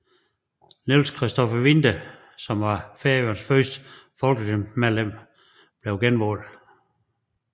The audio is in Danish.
Niels Christopher Winther som var Færøernes første folketingsmedlem blev genvalgt